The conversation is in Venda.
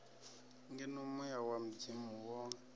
ngeno muya wa mudzimu wo